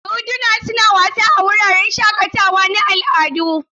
Doduna suna wasa a wuraren shakatawa na al'adu.